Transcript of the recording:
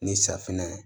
Ni safinɛ ye